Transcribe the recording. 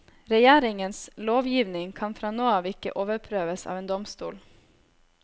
Regjeringens lovgivning kan fra nå av ikke overprøves av en domstol.